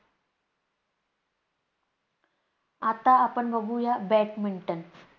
आता आपण बघूया badminton